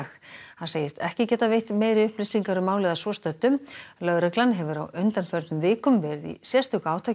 hann segist ekki geta veitt meiri upplýsingar um málið að svo stöddu lögreglan hefur á undanförnum vikum verið í sérstöku átaki